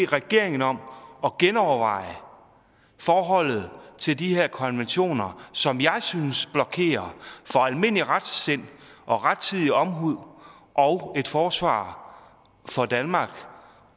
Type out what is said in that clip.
regeringen om at genoverveje forholdet til de her konventioner som jeg synes blokerer for almindelig retsind og rettidig omhu og et forsvar for danmark